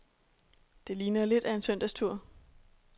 Det ligner lidt af en søndagstur.